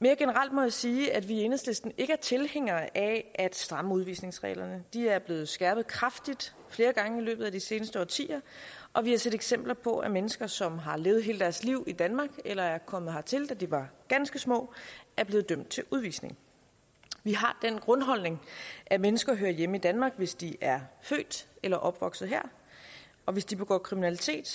mere generelt må jeg sige at vi i enhedslisten ikke er tilhængere af at stramme udvisningsreglerne de er blevet skærpet kraftigt flere gange i løbet af de seneste årtier og vi har set eksempler på at mennesker som har levet hele deres liv i danmark eller er kommet hertil da de var ganske små er blevet dømt til udvisning vi har den grundholdning at mennesker hører hjemme i danmark hvis de er født eller opvokset her og hvis de begår kriminalitet